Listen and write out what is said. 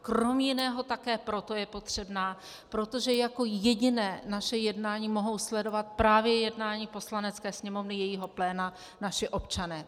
Krom jiného také proto je potřebná, protože jako jediné naše jednání mohou sledovat právě jednání Poslanecké sněmovny jejího pléna naši občané.